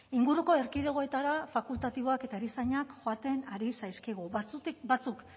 inguruko erkidegoetara fakultatiboak eta erizainak joaten ari zaizkigu batzuk